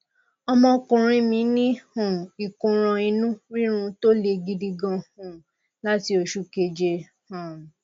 ọmọkùnrin mí ní um ìkóràn inú rírun tó le gidi gan um láti oṣù keje um